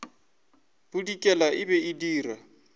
bodikela e be e dira